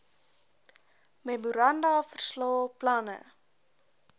memoranda verslae planne